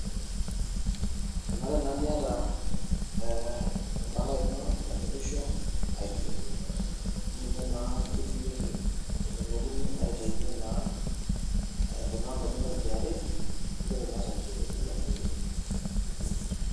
Enare naa niyata, ee empalai ino cs[kitambulisho]cs cs[ID]cs amuu ninye naa kitumikie etumokini aitaunye naa ee kunaambai inono ekra neeku naa ore cs[certificate]cs ino.